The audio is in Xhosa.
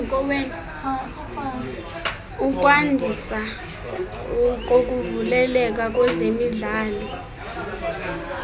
ukwandiswa kokuvuleleka kwezemidlalo